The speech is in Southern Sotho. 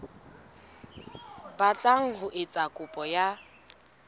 batlang ho etsa kopo ya